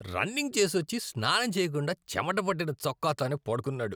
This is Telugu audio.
రన్నింగ్ చేసొచ్చి, స్నానం చేయకుండా చెమట పట్టిన చొక్కాతోనే పడుకున్నాడు.